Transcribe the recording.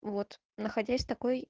вот находясь в такой